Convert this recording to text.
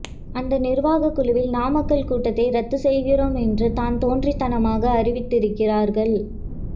அந்த நிர்வாகக் குழுவில் நாமக்கல் கூட்டத்தை ரத்து செய்கிறோம் என்று தான் தோன்றித் தனமாக அறிவித்திருக்கிறார்கள்